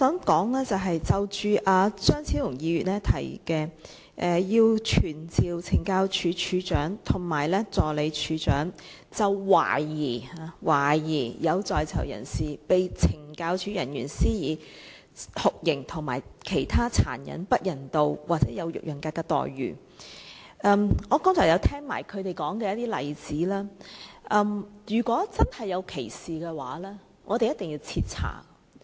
關於張超雄議員提出傳召懲教署署長及助理署長，就懷疑、懷疑有在囚人士被懲教署人員施以酷刑和其他殘忍、不人道或有辱人格的待遇作證，我剛才聽到他們說的例子，如果真有其事，我們一定要徹查。